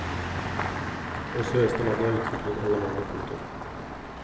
Også i resten av landet er utviklingen alarmerende. punktum